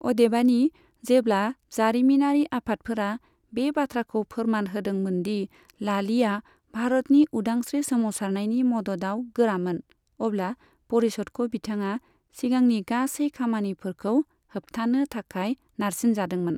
अदेबानि, जेब्ला जारिमिनारि आफादफोरा बे बाथ्राखौ फोरमान होदोंमोन दि लालीया भारतनि उदांस्रि सोमावसारनायनि मददआव गोरामोन, अब्ला परिषदखौ बिथाङा सिगांनि गासै खामानिफोरखौ होबथानो थाखाय नारसिनजादोंमोन।